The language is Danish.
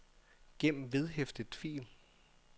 gem vedhæftet fil